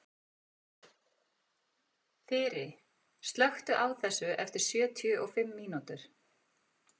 Þyri, slökktu á þessu eftir sjötíu og fimm mínútur.